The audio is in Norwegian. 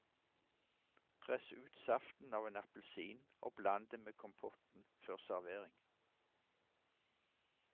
Press ut saften av en appelsin og bland det med kompotten før servering.